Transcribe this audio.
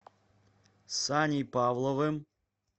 саней павловым